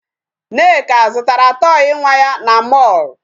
Nneka zụtara toy nwa ya na mall.